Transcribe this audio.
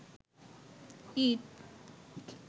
ইট